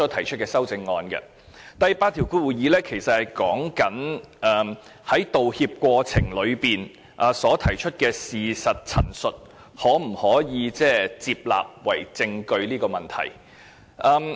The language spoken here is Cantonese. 其實，第82條說的，是在道歉過程中提出的事實陳述可否被接納為證據的問題。